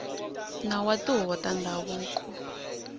nawu wa tihuvo ta ndhavuko